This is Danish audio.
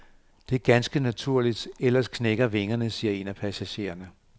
Det er ganske naturligt, ellers knækker vingerne, siger en af passagererne.